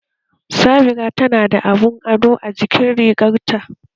Sabira tana da abun ado a jikin rigarta